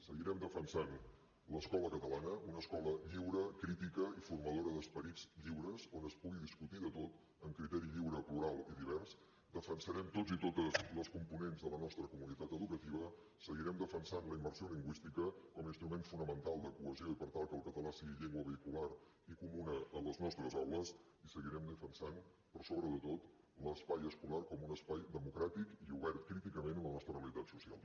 seguirem defensant l’escola catalana una escola lliure crítica i formadora d’esperits lliures on es pugui discutir de tot amb criteri lliure plural i divers defensarem tots i totes les components de la nostra comunitat educativa seguirem defensant la immersió lingüística com a instrument fonamental de cohesió i per tal que el català sigui llengua vehicular i comuna en les nostres aules i seguirem defensant per sobre de tot l’espai escolar com un espai democràtic i obert críticament a la nostra realitat social